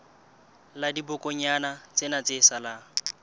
la dibokonyana tsena tse salang